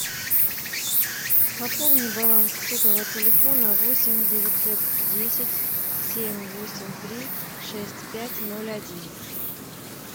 пополни баланс сотового телефона восемь девятьсот десять семь восемь три шесть пять ноль один